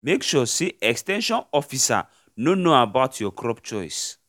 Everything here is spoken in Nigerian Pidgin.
make sure say ex ten sion officer know know about your crop choice